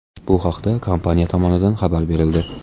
Bu haqda kompaniya tomonidan xabar berildi .